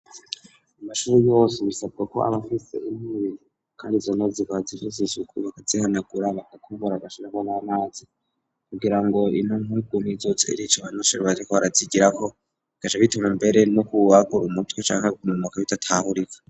Amashuru yose bisabwa ko abafise intubi, kandi zonozi bazifuse ishuku bagazihana guraba gakumbora agashinaagonaamazi kugira ngo intunkugu mizote irico banisherwaziko arazigirako gaca bituma imbere no ku ubwagur umutwe canke kumumoka bidatahurika.